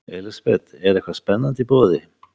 Elísabet, er eitthvað spennandi í boði?